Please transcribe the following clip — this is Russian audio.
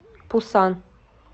пусан